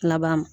Laban